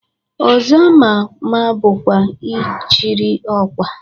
Ọzọ ama ama bụkwa Ịchịrị Ọkwa.